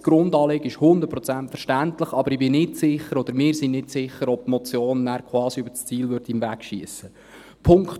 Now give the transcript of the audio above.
Das Grundanliegen ist 100 Prozent verständlich, aber ich bin nicht sicher, oder wir sind nicht sicher, ob die Motion nachher quasi über das Ziel hinausschiessen würde.